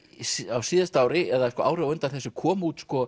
á síðasta ári eða árið á undan kom út sko